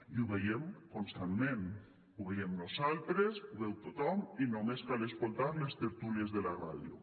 i ho veiem constantment ho veiem nosaltres ho veu tothom i només cal escoltar les tertúlies de la ràdio